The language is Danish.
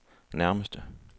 nærmeste